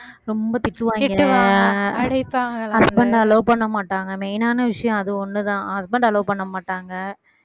ரொம்ப திட்டுவாங்க husband அ allow பண்ணமாட்டாங்க main ஆன விஷயம் அது ஒண்ணுதான் husband allow பண்ணமாட்டாங்க